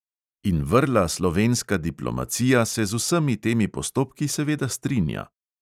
In vrla slovenska diplomacija se z vsemi temi postopki seveda strinja.